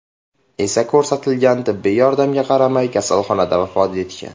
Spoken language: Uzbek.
esa ko‘rsatilgan tibbiy yordamga qaramay, kasalxonada vafot etgan.